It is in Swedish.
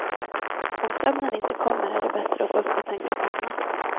Om sömnen inte kommer är det bättre att gå upp och tänka på annat.